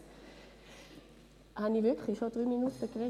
Gut, dann darf ich Ihnen mein Votum vorenthalten.